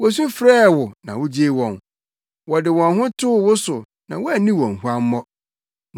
Wosu frɛɛ wo na wugyee wɔn, wɔde wɔn ho too wo so na woanni wɔn nhuammɔ.